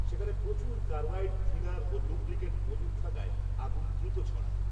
সেখানে প্রচুর carbide, thinner, ও লুব্রিক্যান্ট মজুত থাকায়, আগুন, দ্রুত ছড়ায়